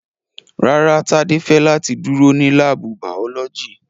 Rárá, Tade fẹ lati duro ni laabu baolọgi